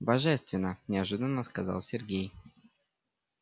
божественно неожиданно сказал сергей